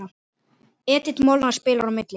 Edith Molnar spilar á milli.